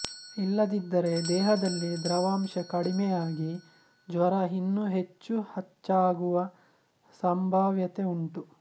ಇಲ್ಲದಿದ್ದರೆ ದೇಹದಲ್ಲಿ ದ್ರವಾಂಶ ಕಡಿಮೆ ಆಗಿ ಜ್ವರ ಇನ್ನೂ ಹೆಚ್ಚು ಹಚ್ಚಾಗುವ ಸಂಭಾವ್ಯತೆ ಉಂಟು